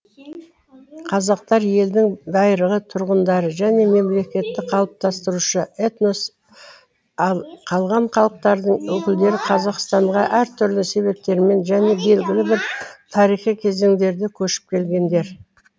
қазақтар елдің байырғы тұрғындары және мемлекетті қалыптастырушы этнос ал қалған халықтардың өкілдері қазақстанға әр түрлі себептермен және белгілі бір тарихи кезеңдерде көшіп келгендер